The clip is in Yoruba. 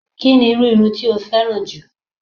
Kí ni irú irun tí o féràn jù?